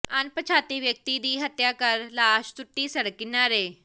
ਅਣਪਛਾਤੇ ਵਿਅਕਤੀ ਦੀ ਹੱਤਿਆ ਕਰ ਲਾਸ਼ ਸੁੱਟੀ ਸੜਕ ਕਿਨਾਰੇ